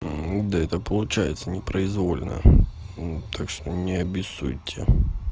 ну да это получается непроизвольно так что не обессудьте